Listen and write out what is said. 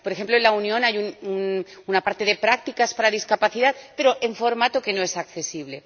Por ejemplo, en la Unión hay una parte de prácticas para discapacidad, pero en formato que no es accesible.